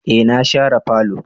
Eh na share falo.